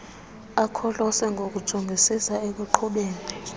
akholose ngokujongisisa ekuqhubeni